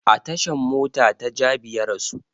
A tashan mota ta jabi ya rasu